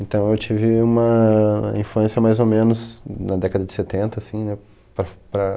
Então eu tive uma infância mais ou menos na década de setenta, assim, né?